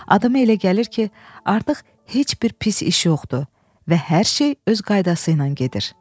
Adama elə gəlir ki, artıq heç bir pis iş yoxdur və hər şey öz qaydası ilə gedir.